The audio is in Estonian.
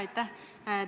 Aitäh!